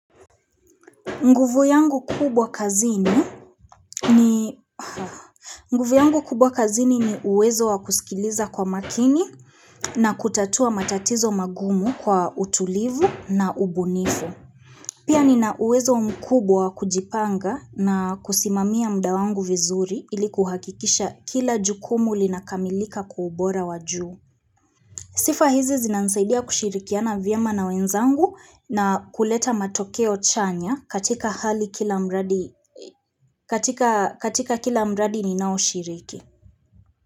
Nguvu yangu kubwa kazini ni uwezo wa kusikiliza kwa makini na kutatua matatizo magumu kwa utulivu na ubunifu. Pia nina uwezo mkubwa kujipanga na kusimamia muda wangu vizuri ili kuhakikisha kila jukumu linakamilika kwa ubora wajuu. Sifa hizi zinanisaidia kushirikiana vyema na wenzangu na kuleta matokeo chanya katika hali kila mradi ni nao shiriki.